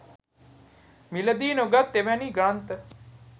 මිලදී නොගත් එවැනි ග්‍රන්ථ